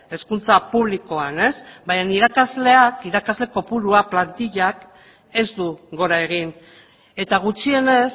hezkuntza publikoan baina irakasle kopuruak plantillak ez du gora egin eta gutxienez